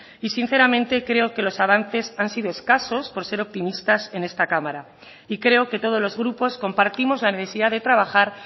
y sinceramente creo que los avances han sido escasos por ser optimistas en esta cámara y creo que todos los grupos compartimos la necesidad de trabajar